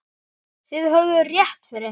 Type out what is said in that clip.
Þið höfðuð rétt fyrir ykkur.